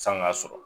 San'a sɔrɔ